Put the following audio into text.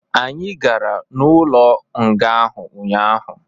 Anyi gara n'ụlo nga ahu ụnyaahụ